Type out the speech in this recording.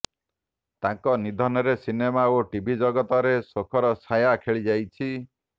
ତାଙ୍କ ନିଧନରେ ସିନେମା ଓ ଟିଭି ଜଗତରେ ଶୋକର ଛାୟା ଖେଳିଯାଇଛି